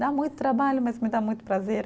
Dá muito trabalho, mas me dá muito prazer.